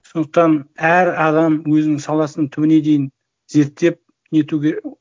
сондықтан әр адам өзінің саласын түбіне дейін зерттеп нетуге